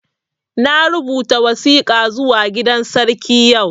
Na rubuta wasika zuwa gidan sarki yau